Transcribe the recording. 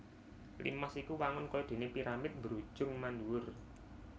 Limas iku wangun kaya déné piramid mbrujung mandhuwur